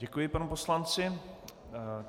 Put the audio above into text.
Děkuji panu poslanci.